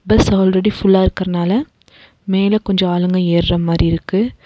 Bus already full ஆ இருக்கறனால மேல கொஞ்சோ ஆளுங்க ஏற மாரி இருக்கு.